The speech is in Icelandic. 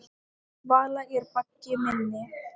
Vala er baggi minni.